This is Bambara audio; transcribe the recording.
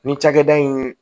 Nin cakɛda in